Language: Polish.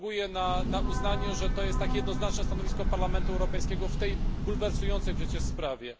Zasługuje na uznanie również to, że jest to jednoznaczne stanowisko Parlamentu Europejskiego w tej bulwersującej przecież sprawie.